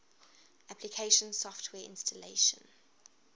application software installation